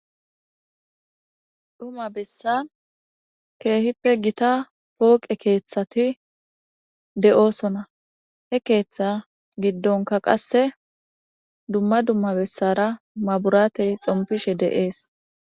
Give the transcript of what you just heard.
dhuma bessan keehippe gita pooqe keeththati de'oosona he keeththa giddonka qasse dumma dumma bessara maburatey xompishe de'ees